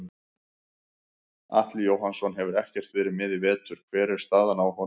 Atli Jóhannsson hefur ekkert verið með í vetur hver er staðan á honum?